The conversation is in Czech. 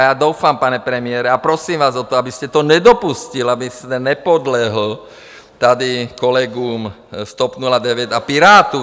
A já doufám, pane premiére, a prosím vás o to, abyste to nedopustil, abyste nepodlehl tady kolegům z TOP 09 a Pirátům.